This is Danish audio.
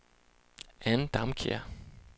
Ann Damkjær